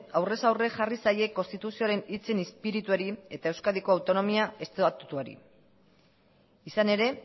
aurrez aurre jarri zaie konstituzioaren hitzen izpirituari eta euskadiko autonomia estatutuari izan ere